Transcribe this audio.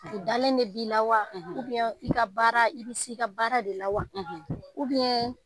U dalen de b'i la wa i ka baara i bɛ se i ka baara de la wa